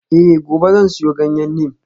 Eh gobe zan siyo ganyen neem